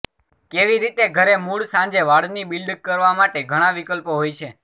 કેવી રીતે ઘરે મૂળ સાંજે વાળની બિલ્ડ કરવા માટે ઘણા વિકલ્પો હોય છે